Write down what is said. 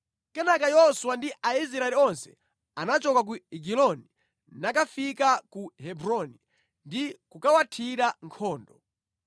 Kenaka Yoswa ndi Aisraeli onse anachoka ku Egiloni nakafika ku Hebroni ndi kukawuthira nkhondo.